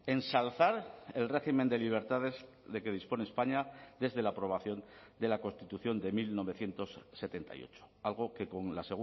ensalzar el régimen de libertades de que dispone españa desde la aprobación de la constitución de mil novecientos setenta y ocho algo que con la